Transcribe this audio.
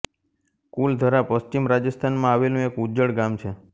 કુલધરા પશ્ચિમ રાજસ્થાનમાં આવેલું એક ઉજ્જડ ગામ છે